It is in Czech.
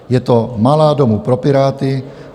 Je to malá domů pro Piráty.